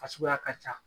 Fasuguya ka ca